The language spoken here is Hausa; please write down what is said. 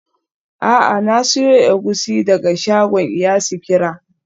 A'a, na siyo egusi daga shagon iya sikira.